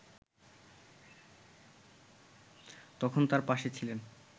তখন তার পাশে ছিলেন